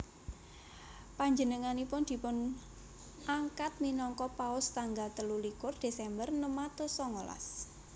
Panjenenganipun dipunangkat minangka Paus tanggal telu likur Desember enem atus songolas